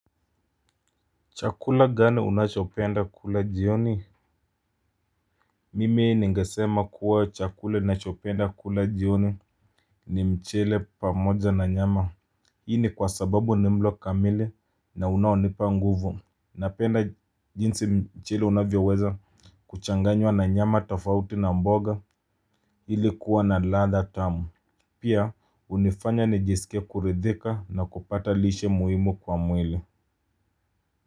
Chakula gani unachopenda kula jioni. Mimi ningesema kuwa chakula nachopenda kula jioni ni mchele pamoja na nyama. Hii ni kwa sababu ni mlo kamili na unaonipa nguvu. Napenda jinsi mchele unavyoweza kuchanganywa na nyama tafauti na mboga ili kuwa na ladha tamu. Pia hunifanya nijisikie kuridhika na kupata lishe muhimu kwa mwili.